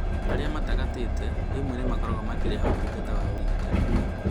Arĩa matagatĩte rĩmwe nĩ makoragwo makĩrĩhĩra motungata ma ũrigiti